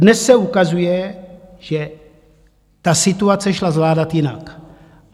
Dnes se ukazuje, že ta situace šla zvládat jinak.